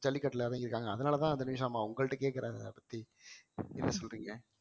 ஜல்லிக்கட்டுல இறங்கிருக்காங்க அதனாலதான் தன்விஷ் அம்மா உங்கள்ட கேக்கறேன் அத பத்தி என்ன சொல்றீங்க